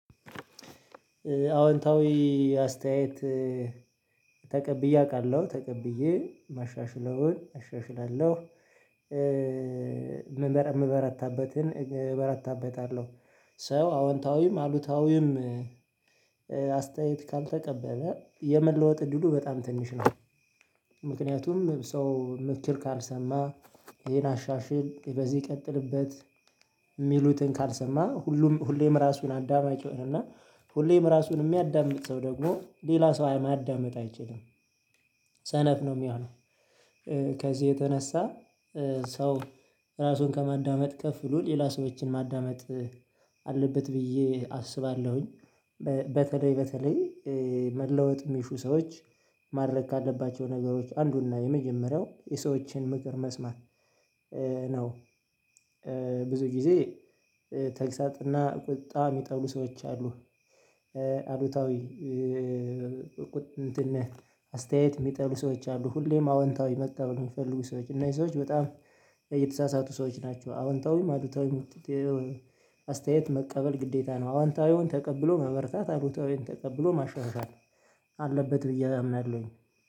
አዎንታዊ አስተያየት ተቀብዬቃለሁ አውቃለሁ ተቀብዬ ማሻሽለውን አሻሽላለሁ። እበረታበታለሁ ሰው አወንታዊም አሉታዊም አስተያየት ካልተቀበለ የመለወጥ እድሉ በጣም ትንሽ ነው። ምክንያቱም ሰው ምክር ካልሰማ ይሄን አሻሽል በዚህ ይቀጥልበት የሚሉትን ካልሰማ ሁሉም ሁሌም ራሱን አዳማጭ ነው እና ሁሌም ራሱን የሚያዳምጥ ሰው ደግሞ ሌላ ሰው ማዳመጥ አይችልም። ሰነፍ ነው የሚሆነው። ከዚህ የተነሳ ሰው ራሱን ከማዳመጥ ከፍሎ ሌላ ሰዎችን ማዳመጥ አለበት ብዬ አስባለሁኝ። በተለይ በተለይ መለወጥ የሚሹ ሰዎች ማድረግ ካለባቸው ነገሮች አንዱና የመጀመሪያው የሰዎችን ምክር መስማት ነው። ብዙ ጊዜ ተግሳጥና ቁጣ የሚጠሉ ሰዎች አሉ። አሉታዊ እንትን አስተያየት የሚጠሉ ሰዎች አሉ ሁሌም አዎንታዊ መቀበል የሚፈልጉ ሰዎች እና እነዚህ ሰዎች በጣም እየተሳሳቱ ሰዎች ናቸው። አዎንታዊም አዎንታዊም አስተያየት መቀበል ግዴታ ነው አዎንታዊውን ተቀብሎ መበርታት አዎንታዊውን ተቀብሎ ማሻሻል አለበት ብዬ አምናለሁኝ።